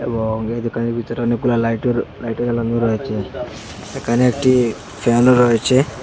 এবং এই দুকানের ভিতরে অনেকগুলো লাইটও লাইটও জ্বালানো আছে সেখানে একটি পিয়ানো রয়েছে।